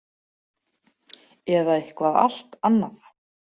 Eða eitthvað allt annað.